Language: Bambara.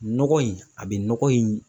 Nɔgɔ in a bɛ nɔgɔ in